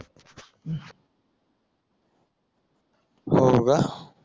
हो का